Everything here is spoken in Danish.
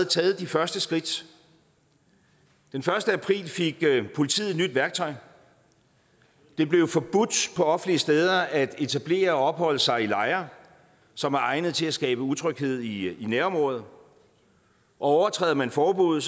taget de første skridt den første april fik politiet et nyt værktøj det blev forbudt på offentlige steder at etablere og opholde sig i lejre som er egnet til at skabe utryghed i et nærområde overtræder man forbuddet